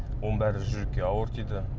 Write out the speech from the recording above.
оның бәрі жүрекке ауыр тиді